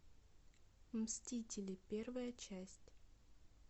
мстители первая часть